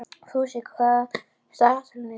Fúsi, hvað er í dagatalinu í dag?